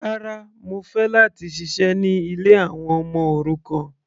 Rárá, mo fẹ́ láti ṣiṣẹ́ ní ilé àwọn ọmọ òrukàn.